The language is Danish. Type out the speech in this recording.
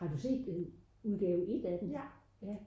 har du set udgave et af den?